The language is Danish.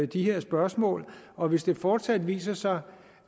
de her spørgsmål og hvis det fortsat viser sig